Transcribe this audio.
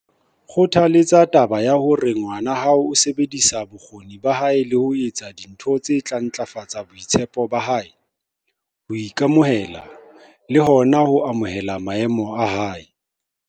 Kgothaletsa taba ya hore ngwana hao o sebedisa bokgoni ba hae le ho etsa dintho tse tla ntlafatsa boitshepo ba hae, ho ika-mohela le hona ho amohela maemo a hae.